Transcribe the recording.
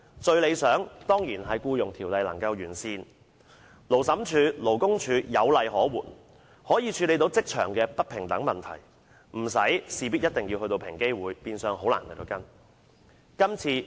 最理想的情況，當然是《僱傭條例》得以完善，令勞審處及勞工處在處理職場不平等情況時有法可依，無需事事轉介到平機會，變相令個案難以跟進。